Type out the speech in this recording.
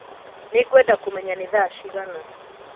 Nĩngwenda kũmenya nĩ thaa cigana